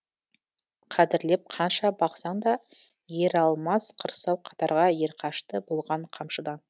қадірлеп қанша бақсаң да ералмас қырсау қатарға ерқашты болған қамшыдан